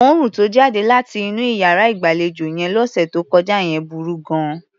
Òórùn tó jáde láti inú iyàrá ìgbàlejò yẹn lọ́sẹ̀ tó kọjá yẹn burú gan-an.